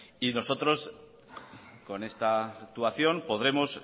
nosotros con esta actuación podremos